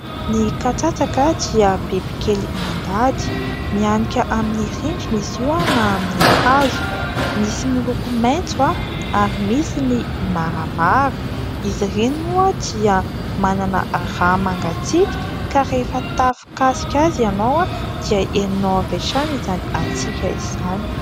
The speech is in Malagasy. Ny katsatsaka dia bibikely mandady, mihanika amin'ny rindrina izy io na amin'ny hazo, misy miloko maintso ary misy ny maramara ; izy ireny moa dia manana rà mangatsiaka ka rehefa tafakasika azy ianao dia henonao avy hatrany izany hatsiaka izany.